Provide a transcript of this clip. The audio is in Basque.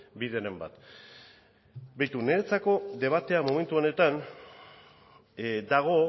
bideren bat begira niretzako debatea momentu honetan dago